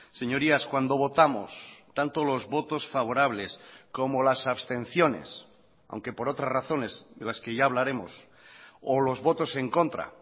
señorías cuando votamos tanto los votos favorables como las abstenciones aunque por otras razones de las que ya hablaremos o los votos en contra